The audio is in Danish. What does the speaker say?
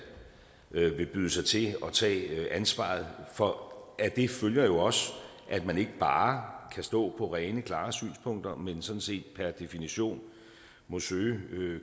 af dem vil byde sig til og tage ansvaret for af det følger jo også at man ikke bare kan stå på rene klare synspunkter men sådan set per definition må søge